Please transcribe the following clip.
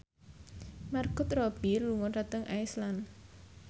Margot Robbie lunga dhateng Iceland